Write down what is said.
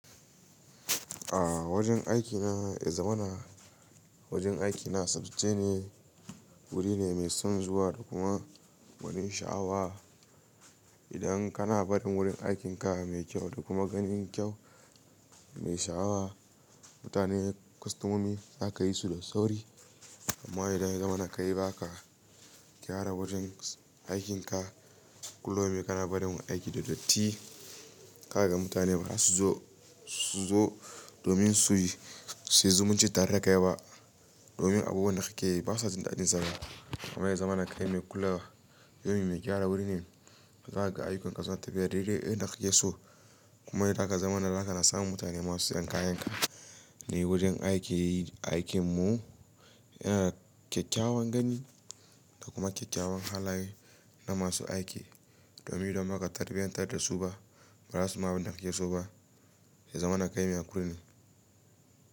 A wajen aikina, ya zaman na wajen aikina sabce ne wuri ne mai son zuwa da kuma wani sha'awa. Idan kana barin wurin aikinka mai kyau da kuma gani kyau mai sha'awa, mutane kwastomomi za ka yi su da sauri. Amma idan zaman ka yi ba ka gyara wajen aikinka, kullum yi kana barin aiki da datti, ka ga mutane ba za su zo su zo domin su yi, sai su zumunci tare da kai ba. Domin abubuwan da kake yi ba su jin daɗin zama. Amma ya zamana kai mai kulawa, yawan yi mai gyara wuri ne, za ka ga ayyukanka suna tafiyar daidai yadda kake so. Kuma idan za ka zama na, za ka na samun mutane masu sayan kayanka. Ni wajen aiki aikin mu yana kyakkyawan gani da kuma kyakkyawan halaye na masu aiki. Domin domin ba ka tarbiyyantar da su ba, ba za su ma abin da kake so ba. Ya zamana ka mai kula ne.